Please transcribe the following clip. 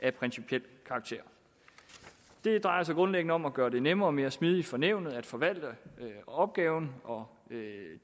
af principiel karakter det drejer sig grundlæggende om at gøre det nemmere og mere smidigt for nævnet at forvalte opgaven og